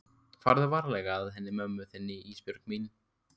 Farðu varlega að henni mömmu þinni Ísbjörg mín.